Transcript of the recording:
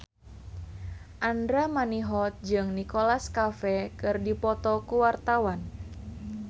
Andra Manihot jeung Nicholas Cafe keur dipoto ku wartawan